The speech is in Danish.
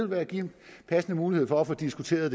være en passende mulighed for at få diskuteret